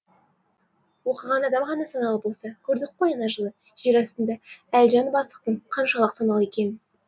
оқыған адам ғана саналы болса көрдік қой ана жылы жер астында әлжан бастықтың қаншалық саналы екенін